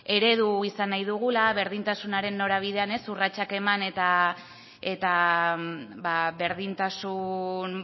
eredu izan nahi dugula berdintasunaren norabidean urratsak eman eta berdintasun